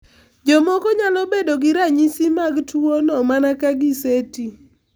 Jomoko nyalo bedo gi ranyisi mag tuwono mana ka giseti.